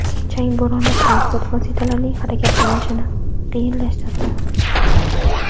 Chang bo‘roni transport vositalarining harakatlanishini qiyinlashtirdi.